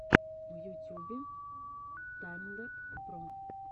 в ютюбе таймлэб про